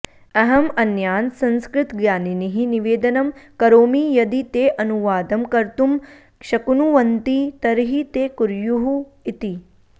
अहं अन्यान् संस्कृतज्ञानिनः निवेदनं करोमि यदि ते अनुवादं कर्तुं शक्नुवन्ति तर्हि ते कुर्युः इति